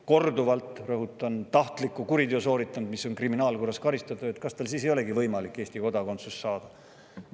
– korduvalt sooritanud tahtliku kuriteo, mille eest on teda kriminaalkorras karistatud, siis kas tal ei olegi võimalik Eesti kodakondsust saada.